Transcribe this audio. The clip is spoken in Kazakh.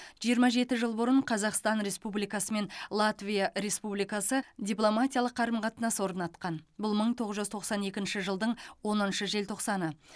жиырма жеті жыл бұрын қазақстан республикасы мен латвия республикасы дипломатиялық қарым қатынас орнатқан бұл мың тоғыз жүз тоқсан екінші жылдың оныншы желтоқсаны